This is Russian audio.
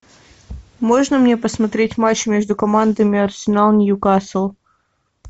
можно мне посмотреть матч между командами арсенал ньюкасл